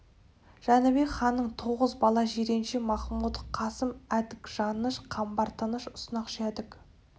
жәнібек ханнан тоғыз бала жиренше махмұт қасым әдік жаныш қамбар тыныш ұснақ жәдік